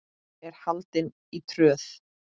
er haldin í Tröð.